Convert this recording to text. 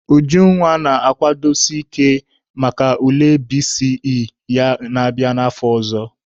Ujunwa na-akwadozi ike maka ule BECE ya na-abịa n'afọ ọzọ.